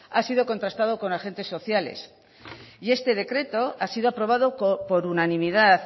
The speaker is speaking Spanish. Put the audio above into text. ha sido contrastado con agentes sociales y este decreto ha sido aprobado por unanimidad